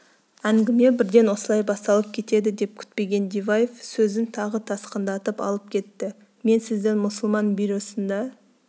әңгіме бірден осылай басталып кетеді деп күтпеген диваев сөзін тағы тасқындатып алып кетті мен сіздің мұсылман бюросында